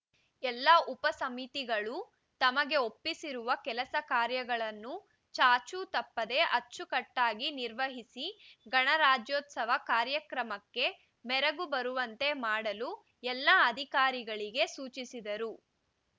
ಎಲ್ಲಾ ಉಪ ಸಮಿತಿಗಳು ತಮಗೆ ಒಪ್ಪಿಸಿರುವ ಕೆಲಸ ಕಾರ್ಯಗಳನ್ನು ಚಾಚೂ ತಪ್ಪದೆ ಅಚ್ಚುಕಟ್ಟಾಗಿ ನಿರ್ವಹಿಸಿ ಗಣರಾಜ್ಯೋತ್ಸವ ಕಾರ್ಯಕ್ರಮಕ್ಕೆ ಮೆರುಗು ಬರುವಂತೆ ಮಾಡಲು ಎಲ್ಲ ಅಧಿಕಾರಿಗಳಿಗೆ ಸೂಚಿಸಿದರು